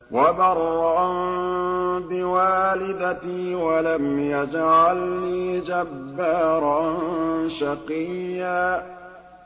وَبَرًّا بِوَالِدَتِي وَلَمْ يَجْعَلْنِي جَبَّارًا شَقِيًّا